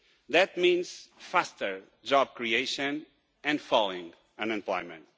That means faster job creation and falling unemployment.